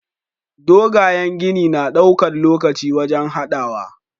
Dogayen gini na ɗaukan lokaci wajan hadawa